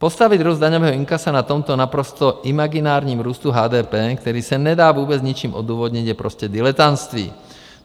Postavit růst daňového inkasa na tomto naprosto imaginárním růstu HDP, který se nedá vůbec ničím odůvodnit, je prostě diletantství.